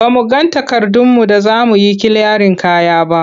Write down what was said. Ba mu ga takardunmu da za mu yi kiliyarin kaya ba.